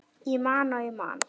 Ég man og ég man.